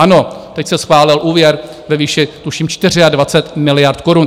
Ano, teď se schválil úvěr ve výši tuším 24 miliard korun.